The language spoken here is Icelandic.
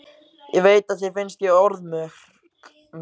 Ég veit að þér finnst ég orðmörg.